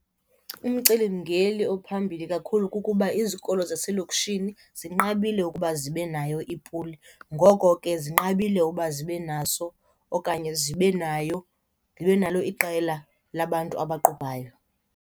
Umcelimngeli ophambili kakhulu kukuba izikolo zaselokishini zinqabile ukuba zibe nayo ipuli. Ngoko ke zinqabile uba zibe naso okanye zibe nayo, zibe nalo iqela labantu abaqubhayo.